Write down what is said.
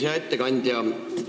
Hea ettekandja!